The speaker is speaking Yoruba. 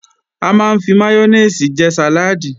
A máa ń fi máyónèsì jẹ sàláàdì